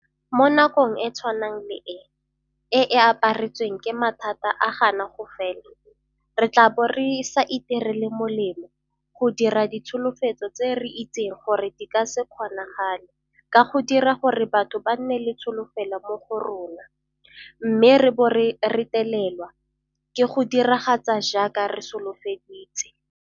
Mo nakong e tshwana le e, e e aparetsweng ke mathata a gana go fela, re tla bo re sa itirele molemo go dira ditsholofetso tse re itseng gore di ka se kgonagale ka go dira gore batho ba nne le tsholofelo mo go rona, mme re bo re retelelwa ke go diragatsa jaaka re solofeditse.